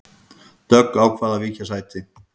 Dögg ákvað að víkja sæti